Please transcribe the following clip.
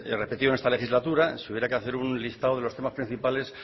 repetido en esta legislatura si hubiera que hacer un listado de los temas principales